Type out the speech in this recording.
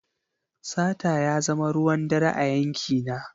Sata ya zama ruwan dare a yankina.